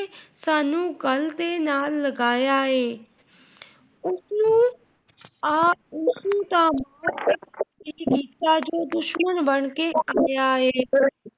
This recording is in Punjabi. ਸਾਨੂ ਗੱਲ ਦੇ ਨਾਲ ਲਗਾਇਆ ਏ,